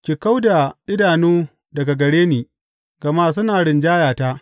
Ki kau da idanu daga gare ni; gama suna rinjayata.